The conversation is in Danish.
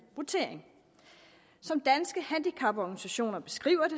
votering som danske handicaporganisationer beskriver